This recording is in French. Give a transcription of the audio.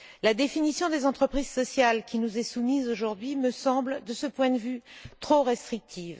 La définition des entreprises sociales qui nous est soumise aujourd'hui me semble, de ce point de vue, trop restrictive.